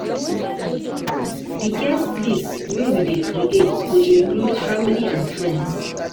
Di guest list wey we dey create go include family and friends.